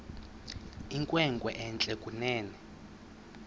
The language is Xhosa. inkwenkwe entle kunene